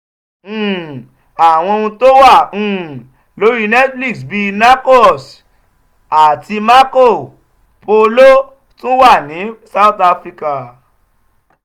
um àwọn ohun tó wà um lórí netflix bíi "narcos" àti "marco um polo" tún wà ní south africa.